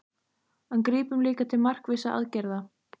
En grípum líka til markvissra aðgerða.